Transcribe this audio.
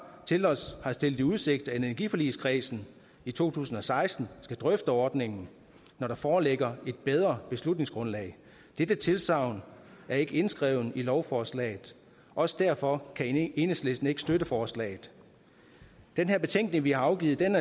til os har stillet i udsigt at energiforligskredsen i to tusind og seksten skal drøfte ordningen når der foreligger et bedre beslutningsgrundlag dette tilsagn er ikke indskrevet i lovforslaget også derfor kan enhedslisten ikke støtte forslaget den betænkning vi har afgivet er